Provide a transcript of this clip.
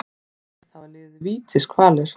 Segist hafa liðið vítiskvalir